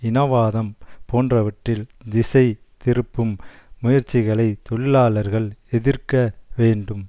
இனவாதம் போன்றவற்றில் திசை திருப்பும் முயற்சிகளைத் தொழிலாளர்கள் எதிர்க்க வேண்டும்